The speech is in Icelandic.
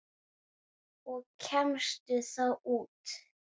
Og kemstu þá út?